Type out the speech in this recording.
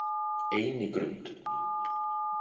Einigrund